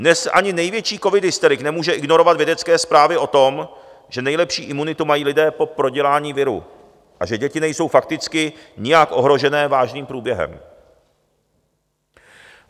Dnes ani největší covidhysterik nemůže ignorovat vědecké zprávy o tom, že nejlepší imunitu mají lidé po prodělání viru a že děti nejsou fakticky nijak ohrožené vážným průběhem.